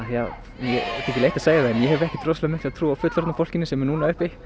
mér þykir leitt að segja það en ég hef ekkert rosalega mikla trú á fullorðna fólkinu sem er núna uppi